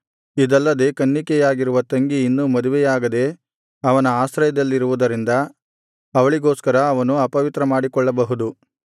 ಇದಲ್ಲದೆ ಕನ್ನಿಕೆಯಾಗಿರುವ ತಂಗಿ ಇನ್ನು ಮದುವೆಯಾಗದೆ ಅವನ ಆಶ್ರಯದಲ್ಲಿರುವುದರಿಂದ ಅವಳಿಗೋಸ್ಕರ ಅವನು ಅಪವಿತ್ರ ಮಾಡಿಕೊಳ್ಳಬಹುದು